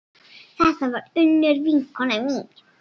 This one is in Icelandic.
Þetta var Unnur vinkona mín.